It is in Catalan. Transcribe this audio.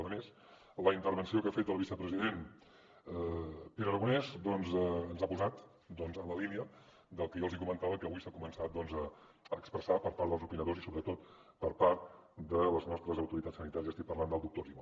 a més la intervenció que ha fet el vicepresident pere aragonès doncs ens ha posat en la línia del que jo els comentava que avui s’ha començat a expressar per part dels opinadors i sobretot per part de les nostres autoritats sanitàries i estic parlant del doctor argimon